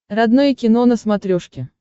родное кино на смотрешке